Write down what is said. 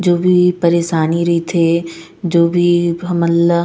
जो भी परेशानी रहिथे जो भी हमन ला--